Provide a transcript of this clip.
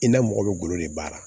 I n'a mɔgɔ bɛ golo de baara